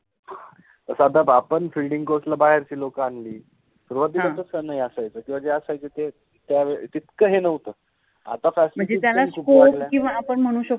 जस आता आपण फिल्डिंग {filding} कोच ला बाहेरचे लोक आणलि, सुरुवातिला तस नाहि असायच ह किव्वा जे असायचे ते त्यावेळि तितक हे नवत, आता फॅसिलिटिज {facilities} पण खुप वाढल्या, मनजे त्याला स्कोप {scope} पन आपन मनु शकतो